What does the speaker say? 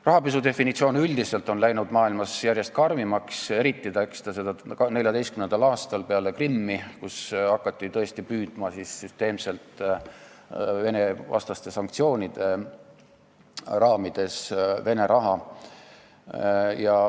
Rahapesu definitsioon üldiselt on läinud maailmas järjest karmimaks, eriti karmiks muutus ta 2014. aastal, peale Krimmi, kui Vene-vastaste sanktsioonide raames hakati tõesti süsteemselt Vene raha püüdma.